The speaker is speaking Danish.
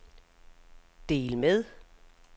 del med